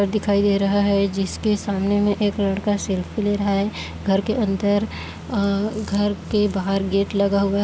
घर दिखाई दे रहा है जिसके सामने मे एक लड़का सेल्फ़ी ले रहा है घर के अंदर अ घर के बाहर गेट लगा हुआ--